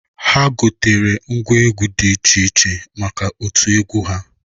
Ha gotere ngwa egwu dị iche iche maka otu egwu ha.